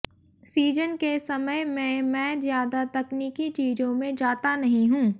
season के समय में मैं ज्यादा तकनीकी चीजों में जाता नहीं हूं